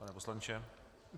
Pane poslanče.